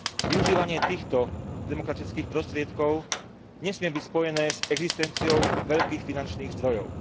Využívanie týchto demokratických prostriedkov nesmie byť spojené s existenciou veľkých finančných zdrojov.